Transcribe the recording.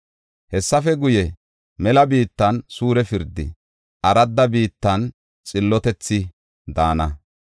Hessafe guye, mela biittan suure pirdi, aradda biittan xillotethi daana.